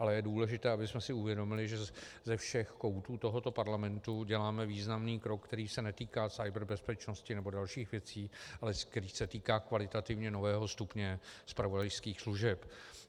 Ale je důležité, abychom si uvědomili, že ze všech koutů tohoto parlamentu děláme významný krok, který se netýká kyberbezpečnosti nebo dalších věcí, ale který se týká kvalitativně nového stupně zpravodajských služeb.